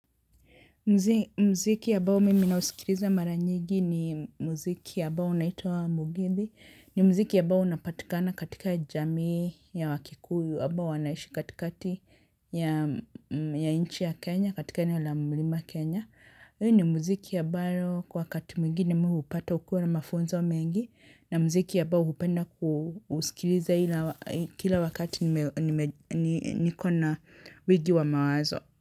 Mziki ambao mimi nausikiliza mara nyigi ni mziki ambao unaitwa Mugithi. Ni mziki ya ambao unapatikana katika jamii ya wakikuyu. Ambao wanaishi katikati ya inchi ya Kenya, katika eneo la mlima Kenya. Huu ni mziki ambao kwa wakati mwingine mimi hupata ukiwa na mafunzo wa mengi. Na mziki ambao hupenda usikilize kila wakati niko na wingi wa mawazo.